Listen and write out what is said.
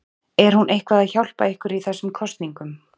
Er hún eitthvað að hjálpa ykkur í þessum kosningum?